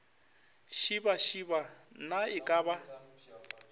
šibašiba na e ka ba